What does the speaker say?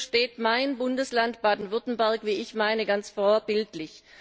Hierfür steht mein Bundesland, Baden Württemberg, wie ich meine, ganz vorbildlich.